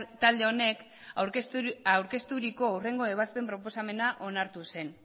talde honek aurkezturiko hurrengo ebazpen proposamena onartu zen